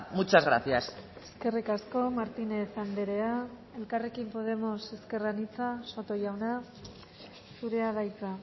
muchas gracias eskerrik asko martínez andrea elkarrekin podemos ezker anitza soto jauna zurea da hitza